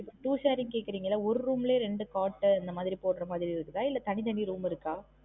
இப்பம் two sharing கேக்குரீங்கள்ள ஒரு room லே ரெண்டு cot உ அந்த மாதிரி போடுற மாதிரி இருக்குதா இல்ல தனித்தனி room இருக்கா?